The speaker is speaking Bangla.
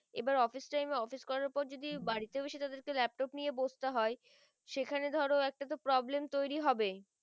এই বার office time এ office করার পর বাড়িতেও এসে তাদেরকে laptop নিয়ে বসতে হয় সেখানে ধরো একটা তো problem তৈরী হবেই